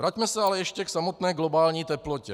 Vraťme se ale ještě k samotné globální teplotě.